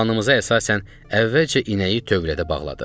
Planımıza əsasən əvvəlcə inəyi tövlədə bağladıq.